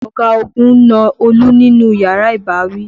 Ọ̀gagun na Olú nínú yàrá ìbáwí.